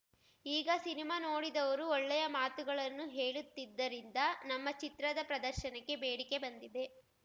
ಈಗ ಸಿನಿಮಾ ನೋಡಿದವರು ಒಳ್ಳೆಯ ಮಾತುಗಳನ್ನು ಹೇಳುತ್ತಿದ್ದರಿಂದ ನಮ್ಮ ಚಿತ್ರದ ಪ್ರದರ್ಶನಕ್ಕೆ ಬೇಡಿಕೆ ಬಂದಿದೆ